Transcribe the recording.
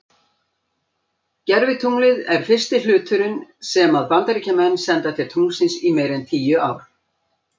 Gervitunglið er fyrsti hluturinn sem að Bandaríkjamenn senda til tunglsins í meira en tíu ár.